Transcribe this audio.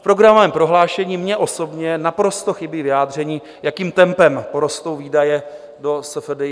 V programovém prohlášení mně osobně naprosto chybí vyjádření, jakým tempem porostou výdaje do SFDI.